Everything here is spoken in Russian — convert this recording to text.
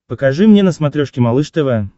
покажи мне на смотрешке малыш тв